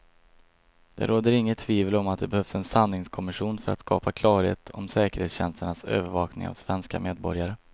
Det råder inget tvivel om att det behövs en sanningskommission för att skapa klarhet om säkerhetstjänsternas övervakning av svenska medborgare.